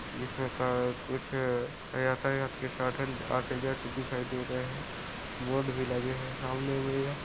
जिसमे का कुछ यातायात के साधन आते जाते दिखाई दे रहे है बोर्ड भी लगे है सामने में यह--